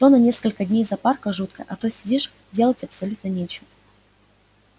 то на несколько дней запарка жуткая а то сидишь делать абсолютно нечего